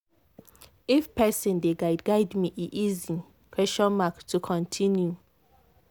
if person dey guide guide me e easy to continue.